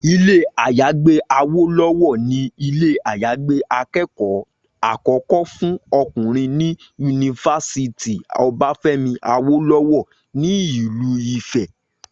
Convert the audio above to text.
Ilé-àyágbé Awólọ́wọ̀ ni ilé-àyágbé akẹ́kọ̀ọ́ àkọ́kọ́ fún ọkùnrin ní yunifásítì Ọbáfẹ́mi Awólọ́wọ̀ nílùú Ifẹ̀